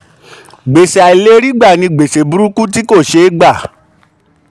gbèsè àìlèrígbà ni gbèsè burúkú tí kò ṣé gbà.